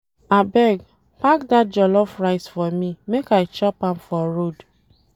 Abeg, pack dat jollof rice for me make I chop am for road.